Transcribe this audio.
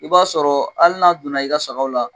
I b'a sɔrɔ hali n'a donna i ka sagaw la